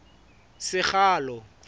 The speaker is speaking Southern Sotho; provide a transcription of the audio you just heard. sekgalo